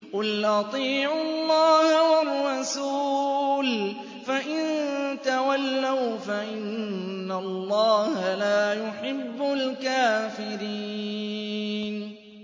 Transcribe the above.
قُلْ أَطِيعُوا اللَّهَ وَالرَّسُولَ ۖ فَإِن تَوَلَّوْا فَإِنَّ اللَّهَ لَا يُحِبُّ الْكَافِرِينَ